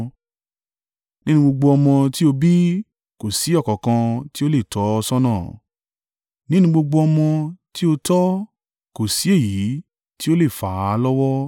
Nínú gbogbo ọmọ tí ó bí kò sí ọ̀kankan tí ó lè tọ́ ọ ṣọ́nà nínú gbogbo ọmọ tí ó tọ́ kò sí èyí tí ó le fà á lọ́wọ́.